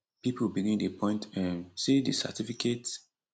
pipo begin dey point um say di certificate